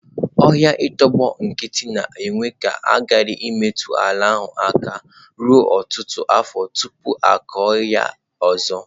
Ọhịa i tọgbọ nkịtị na-ekwe ka a ghara imetụ ala ahụ aka ruo ọtụtụ afọ tupu a kụọ ya ọzọ.